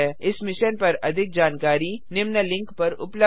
इस मिशन पर अधिक जानकारी निम्न लिंक पर उपलब्ध है